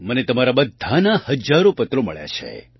મને તમારા બધાના હજારો પત્રો મળ્યા છે